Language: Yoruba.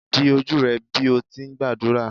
di oju rẹ bi o ti ngbadura!